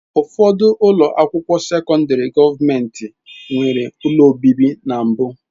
Ụfọdụ ụlọ akwụkwọ sekọndrị gọọmentị nwere ụlọ obibi na mbụ.